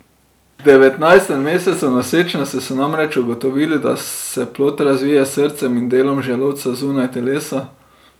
V devetnajstem mesecu nosečnosti so namreč ugotovili, da se plod razvija s srcem in delom želodca zunaj telesa.